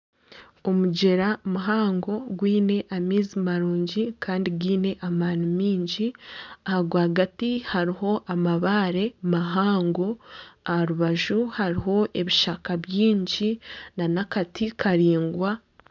Omugyera muhango gwiine amaizi marungi Kandi gaine amaani maingi aha rwagati hariho amabaare mahango aharubaju hariho ebishaka byingi nana akati karaingwa